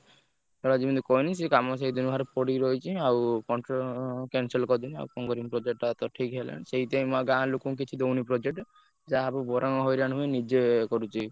ସେ କାମ ସେଇଦିନଠୁ ସେମତି ପଡିକି ରହିଛି ଆଉ cancel କରିଦେଲି ଆଉ କଣ କରିବି project ଟା ତ ଠିକ୍ ହେଲାନି ସେଇଥି ପାଇଁ ମୁଁ ଆଉ ଗାଁ ଲୋକଙ୍କୁ କିଛି ଦଉନି project ଯାହାବି ବରଂ ହଇରାଣ ହୁଏ ନିଜେ କରୁଛି।